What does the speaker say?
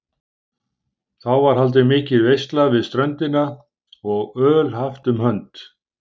Þá var haldin mikil veisla við ströndina og öl haft um hönd.